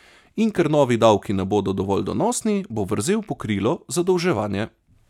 In ker novi davki ne bodo dovolj donosni, bo vrzel pokrilo zadolževanje.